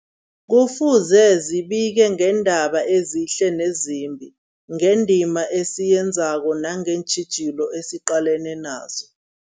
Kufuze zibike ngeendaba ezihle nezimbi, ngendima esiyenzako nangeentjhijilo esiqalene nazo.